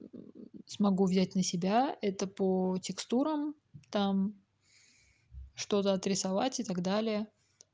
смогу взять на себя это по текстурам там что-то от рисовать и так далее